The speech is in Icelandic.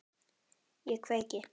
Ég kveiki.